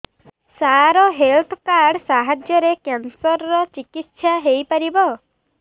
ସାର health card ସାହାଯ୍ୟରେ cancer ର ଚିକିତ୍ସା ହେଇପାରିବ